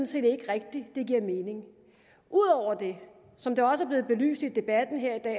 set ikke rigtig det giver mening ud over det som det også er blevet belyst i debatten her i dag